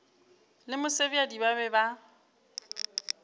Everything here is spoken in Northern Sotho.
le mosebjadi ba be ba